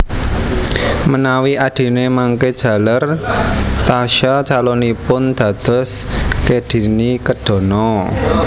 Menawi adhine mangke jaler Tasya calonipun dados kedhini kedhana